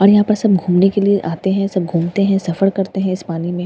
और यहां पर सब घूमने के लिए आते हैं सब घूमते हैं सफर करते हैं इस पानी में--